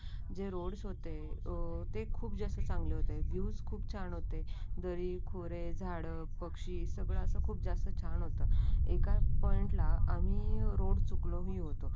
जे रोड्स होते ते खूप जास्त चांगले होते. ज्यूस खूप छान होते. दरी खोरे झाडं पक्षी सगळ असे खूप जास्त छान होतं. एका पॉईंट ला आम्ही रोड चुकलो ही होतो.